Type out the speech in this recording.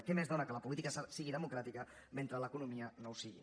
què més dóna que la política sigui democràtica mentre l’economia no ho sigui